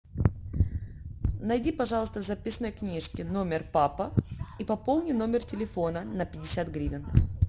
найди пожалуйста в записной книжке номер папа и пополни номер телефона на пятьдесят гривен